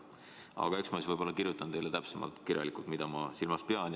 Aga eks ma kirjutan teile täpsemalt, mida ma silmas pean.